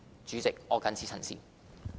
主席，我謹此陳辭。